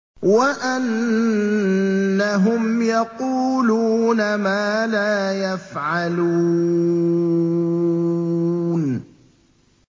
وَأَنَّهُمْ يَقُولُونَ مَا لَا يَفْعَلُونَ